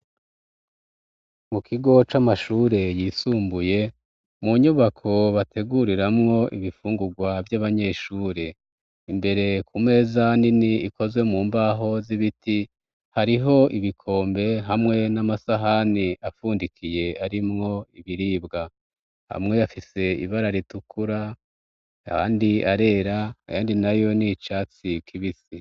Mu kigo c'amashure yisumbuye mu nyubako bateguriramwo ibifungugwa vy'abanyeshuri imbere ku meza nini ikozwe mu mbaho z'ibiti hariho ibikombe hamwe n'amasahani afundikiye arimwo ibiribwa amwe afise ibara ritukura ayandi arera ayandi nayo n' icatsi kibisi.